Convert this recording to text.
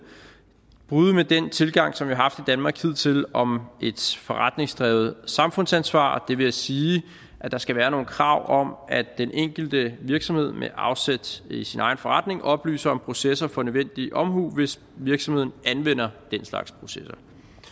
bryde med den tilgang som vi har haft i danmark hidtil om et forretningsdrevet samfundsansvar det vil sige at der skal være nogle krav om at den enkelte virksomhed med afsæt i sin egen forretning oplyser om processer for nødvendig omhu hvis virksomheden anvender den slags processer